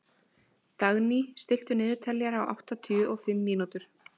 Dagný, stilltu niðurteljara á áttatíu og fimm mínútur.